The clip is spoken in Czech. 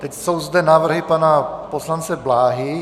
Teď jsou zde návrhy pana poslance Bláhy.